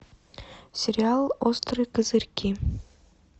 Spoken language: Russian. сериал острые козырьки